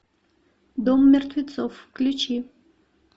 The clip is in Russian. дом мертвецов включи